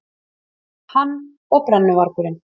Hann og brennuvargurinn.